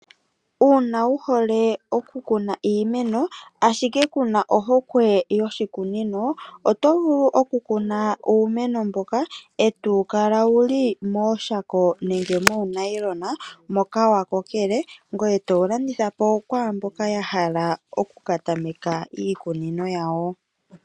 Uuna wuhole oku kuna iimeno, ashike kuna ohokwe yoshikunino oto vulu okukuna uumeno mboka e tawu kala wuli mooshako nenge moonayilona moka wakokele, ngoye towu landithapo kwaamboka yahala oku katameka iikunino yawo.